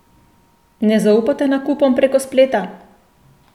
Ne zaupate nakupom prek spleta?